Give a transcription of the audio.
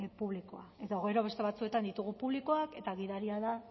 publikoa edo gero beste batzuetan ditugu publikoak eta gidaria da